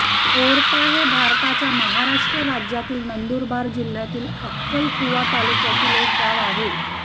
ओरपा हे भारताच्या महाराष्ट्र राज्यातील नंदुरबार जिल्ह्यातील अक्कलकुवा तालुक्यातील एक गाव आहे